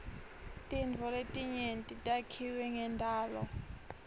tintfo letinyenti takhiwe ngendalo